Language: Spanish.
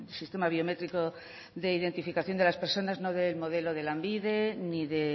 sistema biométrico de identificación de las personas no del modelo de lanbide ni de